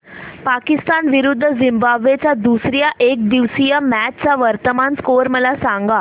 पाकिस्तान विरुद्ध झिम्बाब्वे च्या दुसर्या एकदिवसीय मॅच चा वर्तमान स्कोर मला सांगा